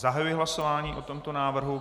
Zahajuji hlasování o tomto návrhu.